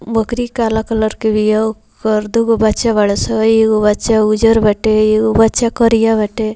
बकरी काला कलर के भी ह ओकर दूगो बच्चा बाड़ा सं एगो बच्चा उजर बाटे एगो बच्चा करिया बाटे।